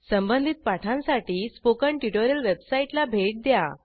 संबंधित पाठांसाठी spoken tutorial वेबसाईटला भेट द्या